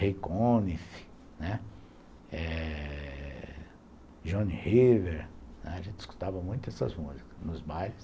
Ray Conniff, né, Johnny River... A gente escutava muito essas músicas nos bailes.